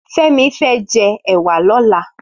Femi fè jè èwà lòlà